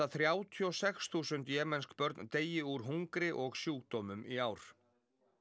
þrjátíu og sex þúsund jemensk börn deyi úr hungri og sjúkdómum í ár